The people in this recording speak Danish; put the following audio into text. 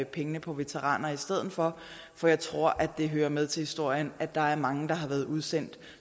pengene på veteraner i stedet for for jeg tror at det hører med til historien at der er mange der har været udsendt